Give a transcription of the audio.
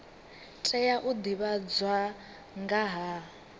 tea u divhadzwa nga ha